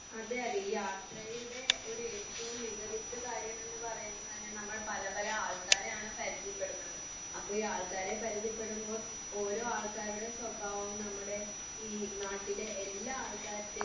അതെ അതെ ഈ യാത്രയുടെ ഒരു ഏറ്റവും മികവിറ്റ കാര്യം എന്ന് പറയുന്നത് തന്നെ നമ്മൾ പല പല ആൾക്കാരെ ആണ് പരിചയപ്പെടുന്നത്. അപ്പൊ ഈ ആൾക്കാരെ പരിചയപ്പെടുമ്പോൾ ഓരോ ആൾക്കാരുടെ സ്വഭാവവും നമ്മുടെ ഈ നാട്ടിലെ എല്ലാ ആൾക്കാരുടേയും